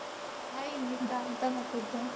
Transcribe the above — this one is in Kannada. Hai ಇನ್ವಿತಾ ಎಂತ ಮಾಡ್ತಿದ್ದೆ?